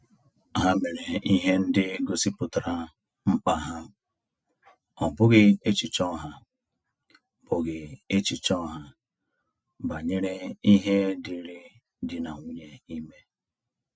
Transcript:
Ha mere ihe ndị gosipụtara mkpa ha, ọ bụghị echiche ọha bụghị echiche ọha banyere ihe dịri dị na nwunye ime